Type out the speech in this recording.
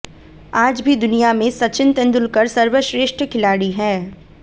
आज भी दुनिया में सचिन तेंदुलकर सर्वश्रेष्ठ खिलाड़ी है